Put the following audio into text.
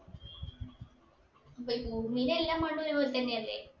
ബ് ഭൂമിയിലെ എല്ലാ മണ്ണും ഒരു പോലെ തന്നെയല്ലേ